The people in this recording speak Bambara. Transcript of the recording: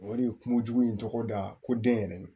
O de ye kungojugu in tɔgɔda ye ko den yɛrɛ